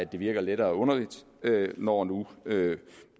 virker lettere underligt når nu